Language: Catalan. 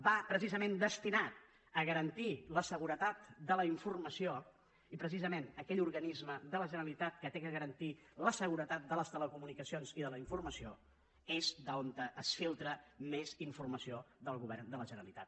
va precisament destinat a garantir la seguretat de la informació i precisament d’aquell organisme de la generalitat que ha de garantir la seguretat de les telecomunicacions i de la informació és d’on es filtra més informació del govern de la generalitat